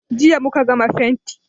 Jiya muka gama fenti.